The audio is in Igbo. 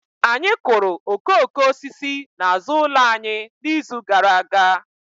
Anyị kụrụ okooko osisi n'azụ ụlọ anyị n'izu gara aga